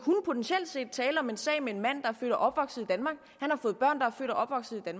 potentielt set kunne tale om en sag med en mand er født og opvokset